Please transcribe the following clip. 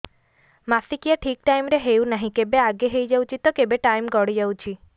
ମାସିକିଆ ଠିକ ଟାଇମ ରେ ହେଉନାହଁ କେବେ ଆଗେ ହେଇଯାଉଛି ତ କେବେ ଟାଇମ ଗଡି ଯାଉଛି